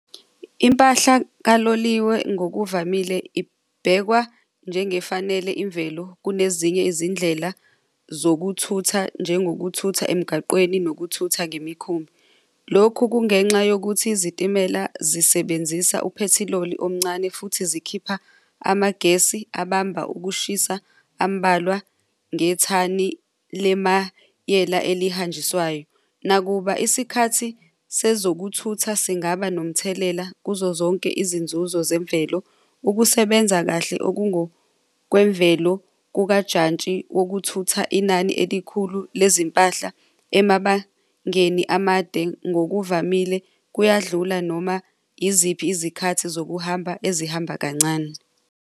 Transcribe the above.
Impahla kaloliwe ngokuvamile ibhekwa njengafanele imvelo kunezinye izindlela zokuthutha njengokuthatha emgaqweni nokuthuthwa ngemikhumbi. Lokhu kungenxa yokuthi izitimela zisebenzisa uphethiloli omncane futhi zikhipha amagesi abamba ukushisa ambalwa ngethani lemayela elihanjiswayo. Nakuba isikhathi sezokuthutha singaba nomthelela kuzo zonke izinzuzo zemvelo ukusebenza kahle okungokwemvelo kukajantshi wokuthutha inani elikhulu lezimpahla emabangeni amade ngokuvamile kuyadlula noma iziphi izikhathi zokuhamba ezihamba kancane.